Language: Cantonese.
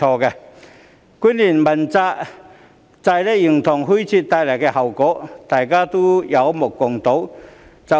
主要官員問責制形同虛設所帶來的後果，可說有目共睹。